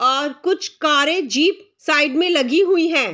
और कुछ कारें जीप साइड में लगी हुई हैं।